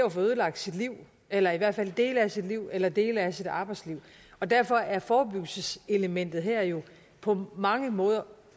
at få ødelagt sit liv eller i hvert fald en del af sit liv eller en del af sit arbejdsliv og derfor er forebyggelseselementet her jo på mange måder